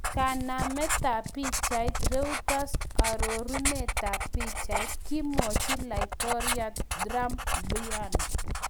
Kanametab pichait, Reuters arorunetab pichait,, kimwochi laitoriat Trump Bw.